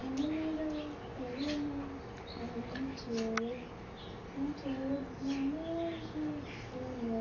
Enhimiro elimu omutyeere. Omutyeere guno mulungi inho.